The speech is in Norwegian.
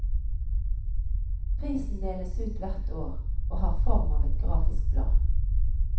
Prisen deles ut hvert år, og har form av et grafisk blad.